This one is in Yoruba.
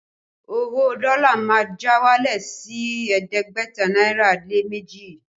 Owó dọ́lá má já wálẹ̀ sí ẹ̀ẹ́dẹ́gbẹ̀ta náírà lé méjì